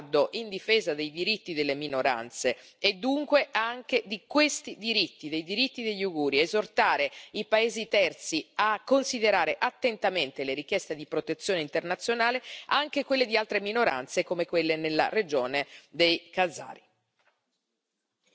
L'Unione europea deve porsi come baluardo in difesa dei diritti delle minoranze, e dunque anche di questi diritti, dei diritti degli Uiguri, esortare i paesi terzi a considerare attentamente le richieste di protezione internazionale, anche quelle di altre minoranze come quelle nella regione dei Cazari.